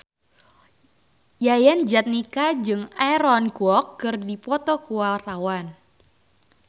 Yayan Jatnika jeung Aaron Kwok keur dipoto ku wartawan